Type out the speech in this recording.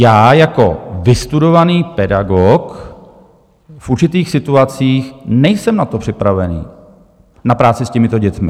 Já jako vystudovaný pedagog v určitých situacích nejsem na to připravený, na práci s těmito dětmi.